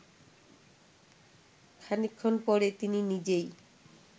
খানিকক্ষণ পরে তিনি নিজেই